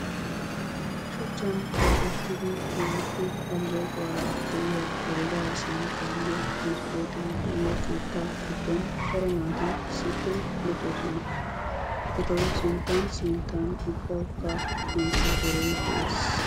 Shuchchaan keexxettida keehippe aleeqquwara de'iya heeregga sanqqaynne maskkotte de'iyo keettaa giddon cora naati issippe luxossona etawu sinttan sinttan ubawukka komppiitere dees.